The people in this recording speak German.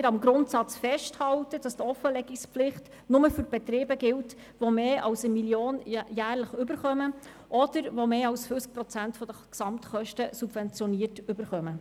Wir wollen deshalb am Grundsatz festhalten, wonach die Offenlegungspflicht nur für Betriebe gilt, die mehr als 1 Mio. Franken jährlich erhalten oder die mit mehr als 50 Prozent der Gesamtkosten subventioniert werden.